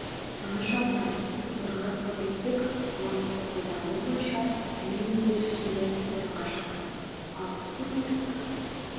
саны жағынан біз орынға көтерілсек ғаламторды пайдалану бойынша әлем елдері ішінде орынға шықтық ал спутниктік